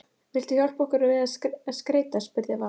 Vilt þú hjálpa okkur að skreyta? spurði Vala.